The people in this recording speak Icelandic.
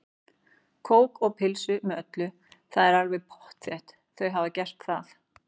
Kók og pulsu með öllu, það er alveg pottþétt, þau hafa gert það.